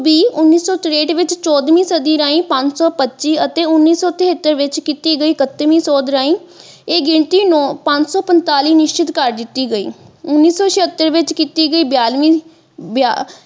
ਦੀ ਉੱਨੀ ਸੋ ਤਰੇਹਟ ਵਿੱਚ ਚੋਦਵੀ ਸਦੀ ਰਾਹੀਂ ਪੰਜ ਸੋ ਪੱਚੀ ਅਤੇ ਉੰਨੀ ਸੋ ਤਿਹੱਤਰ ਵਿੱਚ ਕੀਤੀ ਗਈ ਪੱਚੀਵੀ ਸੋਦ ਰਾਹੀਂ ਇਹ ਗਿਣਤੀ ਪੰਜ ਸੋ ਪੰਤਾਲੀ ਨਿਸ਼ਚਿਤ ਕਰ ਦਿੱਤੀ ਗਈ ਉੰਨੀ ਸੋ ਛਿਅਤਰ ਦੇ ਵਿੱਚ ਕੀਤੀ ਗਈ ਬਿਆਲੀ ਬਿਆ।